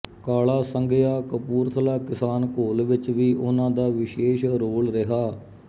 ਕਾਲਾ ਸੰਘਿਆਂ ਕਪੂਰਥਲਾ ਕਿਸਾਨ ਘੋਲ ਵਿਚ ਵੀ ਉਨ੍ਹਾਂ ਦਾ ਵਿਸ਼ੇਸ਼ ਰੋਲ ਰਿਹਾ